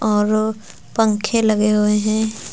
और पंखे लगे हुए हैं।